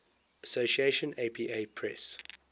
association apa press